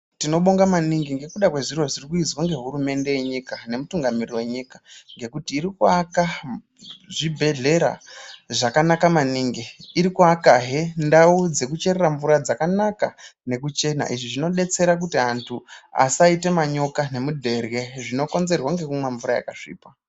Tinobonga maningi ngezviro zvirikuizwa ngehurumende yenyika nemutungamiriri venyika. ngekuti iri kuvaka zvibhedlera zvakanaka maningi, iri kuvakahe ndau dzekucherera mvura dzakanaka nekuchena, izvi zvinobetsera kuti antu asaita manyoka nemudherye zvinokonzerwa ngekumwa mvura yakasviba.